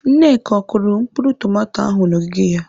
Nneka, ọ kụrụ mkpụrụ tomato ahụ n'ogige ya?